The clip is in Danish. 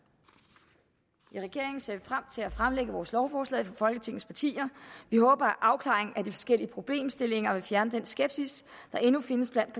vi frem til at fremlægge vores lovforslag for folketingets partier vi håber at afklaringen af de forskellige problemstillinger vil fjerne den skepsis der endnu findes blandt